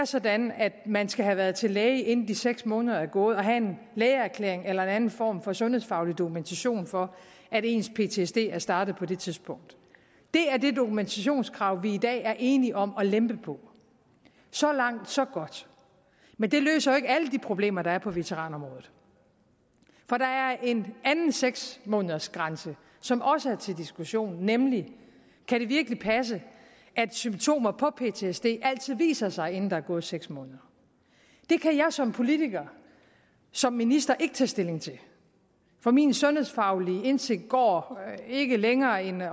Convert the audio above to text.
sådan at man skal have været til læge inden de seks måneder er gået og have en lægeerklæring eller en anden form for sundhedsfaglig dokumentation for at ens ptsd er startet på det tidspunkt det er det dokumentationskrav vi i dag er enige om at lempe på så langt så godt men det løser jo ikke alle de problemer der er på veteranområdet for der er en anden seks månedersgrænse som også er til diskussion nemlig kan det virkelig passe at symptomer på ptsd altid viser sig inden der er gået seks måneder det kan jeg som politiker som minister ikke tage stilling til for min sundhedsfaglige indsigt går ikke længere end